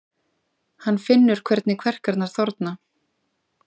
Hann finnur hvernig kverkarnar þorna.